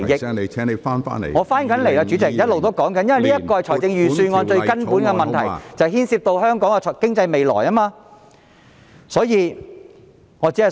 主席，我已返回辯論，我一直在說明這是預算案最根本的問題，並牽涉到香港的未來經濟。